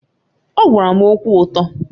Ọ gwara m okwu ụtọ